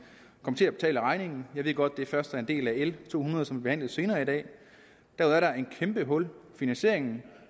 kommer til at betale regningen jeg ved godt at det først er en del af l to hundrede som vi behandler senere i dag der er et kæmpe hul i finansieringen